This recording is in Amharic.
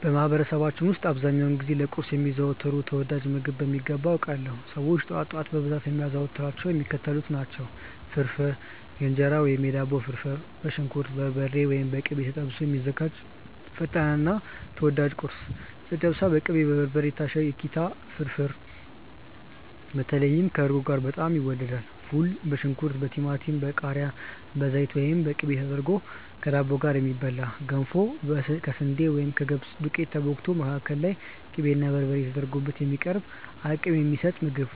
በማህበረሰባችን ውስጥ አብዛኛውን ጊዜ ለቁርስ የሚዘወተሩትን ተወዳጅ ምግቦች በሚገባ አውቃለሁ! ሰዎች ጠዋት ጠዋት በብዛት የሚያዘወትሯቸው የሚከተሉትን ነው፦ ፍርፍር (የእንጀራ ወይም የዳቦ ፍርፍር)፦ በሽንኩርት፣ በበርበሬ (ወይም በቅቤ) ተጠብሶ የሚዘጋጅ ፈጣንና ተወዳጅ ቁርስ። ጨጨብሳ፦ በቅቤና በበርበሬ የታሸ የኪታ ፍርፍር (በተለይ ከእርጎ ጋር በጣም ይወደዳል)። ፉል፦ በሽንኩርት፣ በቲማቲም፣ በቃሪያ፣ በዘይት ወይም በቅቤ ተደርጎ ከዳቦ ጋር የሚበላ። ገንፎ፦ ከስንዴ ወይም ከገብስ ዱቄት ተቦክቶ፣ መካከሉ ላይ ቅቤና በርበሬ ተደርጎ የሚቀርብ አቅም የሚሰጥ ምግብ።